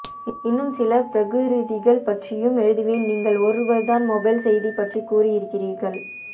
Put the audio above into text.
இன்னும் சில பிரகிருதிகள் பற்றியும் எழுதுவேன் நீங்கள் ஒருவர்தான் மொபைல் செய்தி பற்றிகூறி இருக்கிறீர்கள்